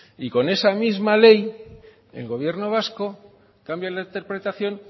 y con esa misma ley el gobierno vasco cambia la interpretación